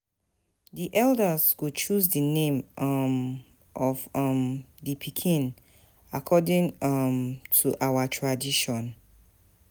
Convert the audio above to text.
Di elders go choose di name um of um di pikin according um to our tradition.